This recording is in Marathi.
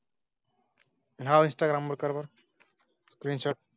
हां, इंस्टाग्राम कर